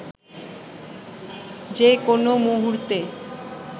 যে কোনও মুহূর্তে